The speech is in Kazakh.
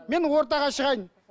мен ортаға шығайын